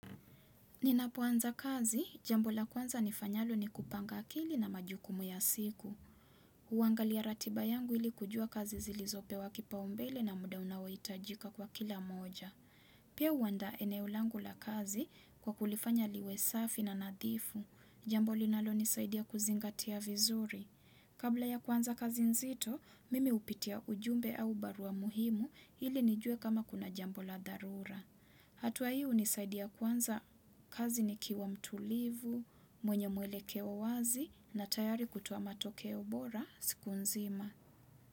Ninapuanza kazi, jambo la kwanza nifanyalo ni kupanga kili na majukumu ya siku. Uwangalia ratiba yangu ili kujua kazi zilizo pewa kipaumbele na muda unaoitajika kwa kila moja. Pia uandaa eneo langu la kazi kwa kulifanya liwe safi na nadhifu. Jambo linalo nisaidia kuzingatia vizuri. Kabla ya kwanza kazi nzito, mimi upitia ujumbe au barua muhimu ili nijue kama kuna jambo la dharura. Hatua hi unisaidia kuanza kazi nikiwa mtulivu, mwenye mwelekeo wazi na tayari kutoa matokeo bora siku nzima.